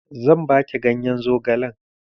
Zan baki ganyen zogalen